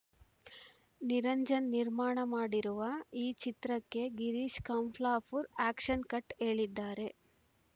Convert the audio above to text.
ನಿರಂಜನ್‌ ನಿರ್ಮಾಣ ಮಾಡಿರುವ ಈ ಚಿತ್ರಕ್ಕೆ ಗೀರೀಶ್‌ ಕಂಪ್ಲಾಪುರ್‌ ಆ್ಯಕ್ಷನ್‌ ಕಟ್‌ ಹೇಳಿದ್ದಾರೆ